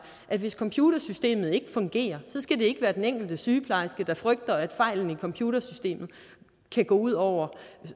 at hvis computersystemet ikke fungerer skal det ikke være den enkelte sygeplejerske der skal frygte at fejlen i computersystemet kan gå ud over